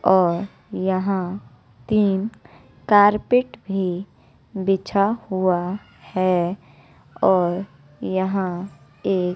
और यहां तीन कारपेट भी बिछा हुआ है और यहां एक--